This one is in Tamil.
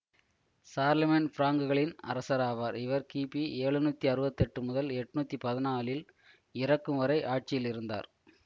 சார்லமேன் பிராங்குகளின் அரசராவார் இவர் கிபி எழுநூத்தி அறுபத்தி எட்டு முதல் எட்ணூத்தி பதினாலில் இறக்கும் வரை ஆட்சியில் இருந்தார்